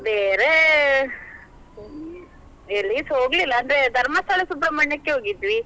ಬೇರೆ ಎಲ್ಲಿಸಾ ಹೋಗ್ಲಿಲ್ಲ, ಅಂದ್ರೆ Dharmasthala, Subrahmanya ಕ್ಕೆ ಹೋಗಿದ್ವಿ.